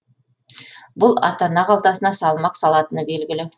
бұл ата ана қалтасына салмақ салатыны белгілі